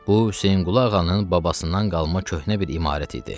Bu Hüseynqulu ağanın babasından qalma köhnə bir imarət idi.